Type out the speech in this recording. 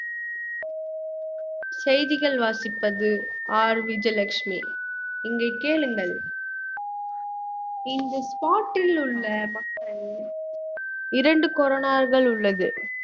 செய்திகள் வாசிப்பது R விஜயலட்சுமி இங்கு கேளுங்கள் இங்கு spot ல் உள்ள மக்கள் இரண்டு உள்ளது